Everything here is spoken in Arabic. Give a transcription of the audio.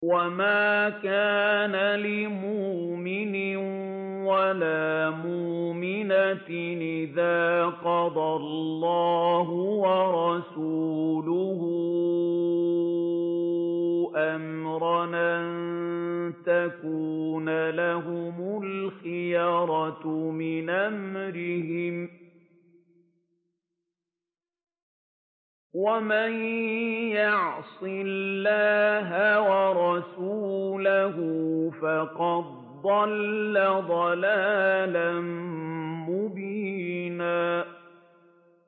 وَمَا كَانَ لِمُؤْمِنٍ وَلَا مُؤْمِنَةٍ إِذَا قَضَى اللَّهُ وَرَسُولُهُ أَمْرًا أَن يَكُونَ لَهُمُ الْخِيَرَةُ مِنْ أَمْرِهِمْ ۗ وَمَن يَعْصِ اللَّهَ وَرَسُولَهُ فَقَدْ ضَلَّ ضَلَالًا مُّبِينًا